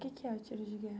O que que é o tiro de guerra?